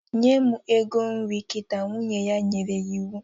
Nye m ego nri kita! Nwunye ya nyere ya iwu